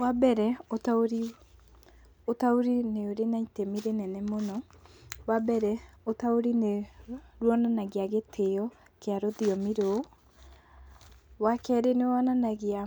Wa mbere, ũtaũri nĩ ũrĩ na itemi rĩnene mũno, wa mbere ũtaũri nĩ rwonanagia gĩtĩyo kia rũthiomi rũu. Wa keerĩ nĩ wonanagia